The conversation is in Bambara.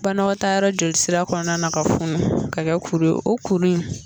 Banakɛtaayɔrɔ jolisira kɔnɔna na ka funu ka kɛ kuru ye o kuru in